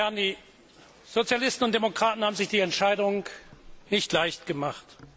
Meine Damen und Herren! Die Sozialisten und Demokraten haben sich die Entscheidung nicht leicht gemacht.